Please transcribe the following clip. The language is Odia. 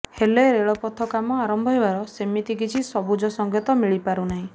ହେଲେ ରେଳପଥ କାମ ଆରମ୍ଭ ହେବାର ସେମିତି କିଛି ସବୁଜ ସଙ୍କେତ ମିଳି ପାରୁନାହିଁ